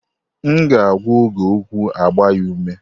M ga agwa Oge okwụ agba ya ume.